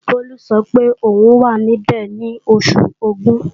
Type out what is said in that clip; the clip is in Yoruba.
Bólú sọ pé òun wà níbẹ̀ ní Oṣù Ògún